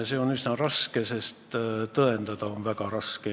See oleks üsna raske, sest tõendada on väga raske.